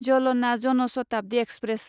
Jalna Jan Shatabdi express